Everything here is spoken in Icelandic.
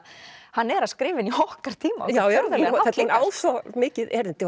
hann er að skrifa inn í okkar tíma hún á svo mikið erindi